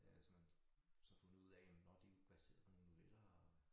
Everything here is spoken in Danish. Øh så man så fundet ud af jamen nåh de jo baseret på nogle noveller og